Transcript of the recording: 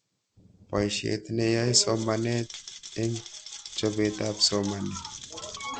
Poishet ne yae somanet eng' chopet ab somanet